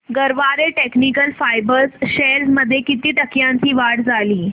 Garware technical fibres shares मध्ये किती टक्क्यांची वाढ झाली